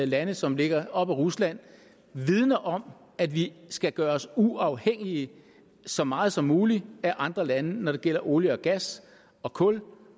lande som ligger op ad rusland vidner om at vi skal gøre os uafhængige så meget som muligt af andre lande når det gælder olie gas og kul